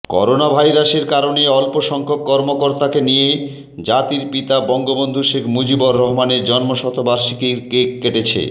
করোনাভাইরাসের কারণে অল্প সংখ্যক কর্মকর্তাকে নিয়ে জাতির পিতা বঙ্গবন্ধু শেখ মুজিবুর রহমানের জন্মশতবার্ষিকীর কেক কেটেছে